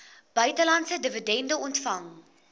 buitelandse dividende ontvang